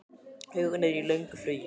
Huginn er í löngu flugi.